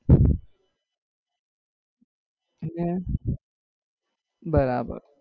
હમ બરાબર